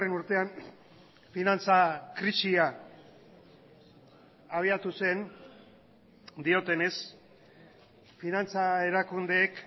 urtean finantza krisia abiatu zen diotenez finantza erakundeek